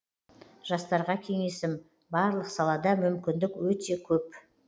жастарға кеңесім барлық салада мүмкіндік өте көп